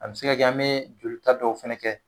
A be se ka kɛ , an be joli ta dɔw fɛnɛ kɛ.